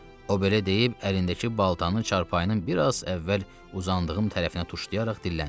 O belə deyib, əlindəki baltanın çarpayının bir az əvvəl uzandığım tərəfinə tuşlayaraq dilləndi.